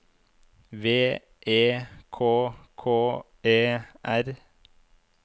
V E K K E R